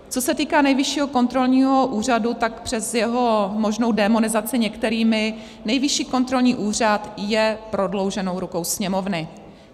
Co se týká Nejvyššího kontrolního úřadu, tak přes jeho možnou démonizaci některými, Nejvyšší kontrolní úřad je prodlouženou rukou Sněmovny.